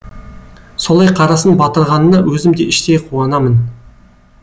солай қарасын батырғанына өзім де іштей қуанамын